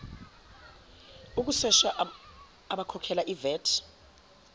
ukusesha abakhokhela ivat